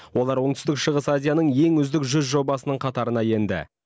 олар оңтүстік шығыс азияның ең үздік жүз жобасының қатарына енді